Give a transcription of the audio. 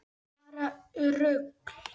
Bara rugl.